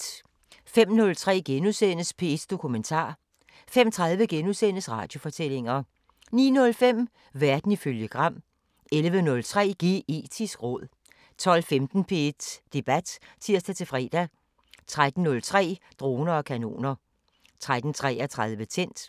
05:03: P1 Dokumentar * 05:30: Radiofortællinger * 09:05: Verden ifølge Gram 11:03: Geetisk råd 12:15: P1 Debat (tir-fre) 13:03: Droner og kanoner 13:33: Tændt